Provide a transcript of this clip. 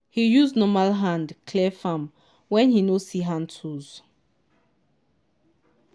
he use normal hand clear farm when he no see hand tools